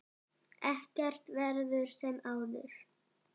Ekkert verður sem áður.